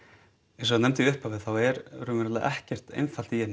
eins og ég nefndi í upphafi þá er raunverulega ekkert einfalt í Jemen